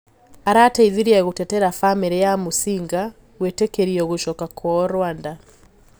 Arateithirie gũtetera famiri ya Musinga gũetekirio gucoka kwao Rwanda.